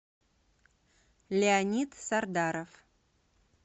леонид сардаров